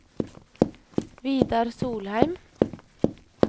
Vidar Solheim